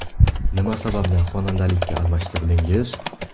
Nima sababdan xonandalikka almashtirdingiz?